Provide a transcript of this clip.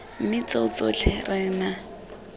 mme tseo tsotlhe re na